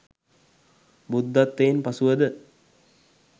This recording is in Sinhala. බුද්ධත්වයෙන් පසුවද